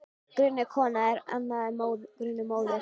Grunuð kona er annað en grunuð móðir.